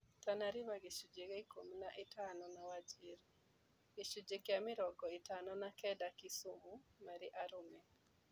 Tana River gĩcunjĩ kĩa ikũmi na ithano na wajir, gĩcunji kĩa mĩrongo ĩtano na kenda Kisumu marĩ arũme